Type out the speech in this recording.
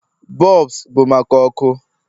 bulbs bụ maka ọkụ